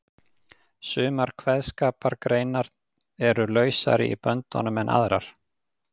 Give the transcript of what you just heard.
Sumar kveðskapargreinar eru lausari í böndunum en aðrar.